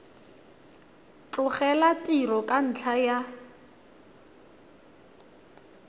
tlogela tiro ka ntlha ya